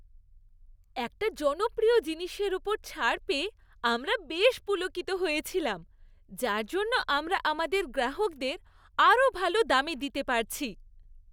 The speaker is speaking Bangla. একটা জনপ্রিয় জিনিসের ওপর ছাড় পেয়ে আমরা বেশ পুলকিত হয়েছিলাম, যার জন্য আমরা আমাদের গ্রাহকদের আরও ভাল দামে দিতে পারছি।